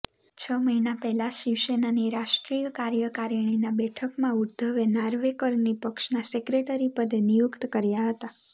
છ મહિના પહેલાં શિવસેનાની રાષ્ટ્રીય કાર્યકારિણીની બેઠકમાં ઉદ્ધવે નાર્વેકરની પક્ષના સેક્રેટરી પદે નિયુક્ત કર્યા હતા